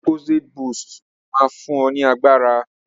Lucozade boost will give you energy